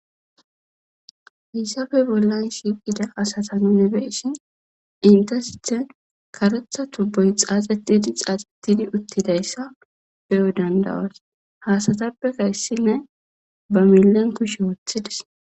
hissafe bollan shiiqida asata nunebeeshin intasithen karetha tubboy xaaxetidi xaaxettidi uttidayssa beyo dandawas haasatappeka issinne ba millen kushe woothidis